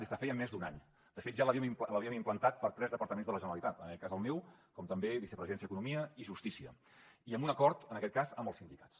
de fet ja l’havíem implantat per a tres departaments de la generalitat en aquest cas el meu com també vicepresidència economia i justícia i amb un acord en aquest cas amb els sindicats